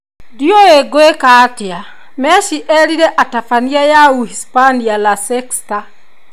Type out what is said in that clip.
ndiũi kwĩkatia atĩa",Messi erire atabania ya Uhispania La Sexta